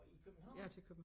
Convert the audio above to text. Nåh i København?